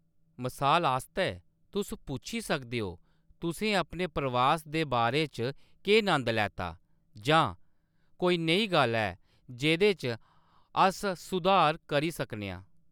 मसाल आस्तै, तुस पुच्छी सकदे ओ, "तुसें अपने प्रवास दे बारे च केह्‌‌ नंद लैता ?" जां, "कोई नेही गल्ल ऐ जेह्‌‌‌दे च अस सुधार करी सकने आं ?"